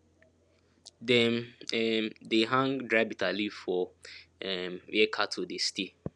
dem um dey hang dry bitter leaf for um where cattle dey stay